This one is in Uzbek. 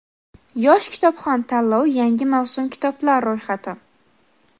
"Yosh kitobxon" tanlovi yangi mavsum kitoblar ro‘yxati.